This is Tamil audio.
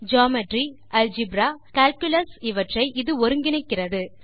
ஜியோமெட்ரி அல்ஜெப்ரா கால்குலாஸ் இவற்றை இது ஒருங்கிணைக்கிறது